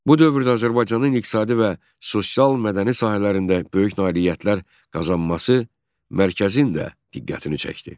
Bu dövrdə Azərbaycanın iqtisadi və sosial-mədəni sahələrində böyük nailiyyətlər qazanması mərkəzin də diqqətini çəkdi.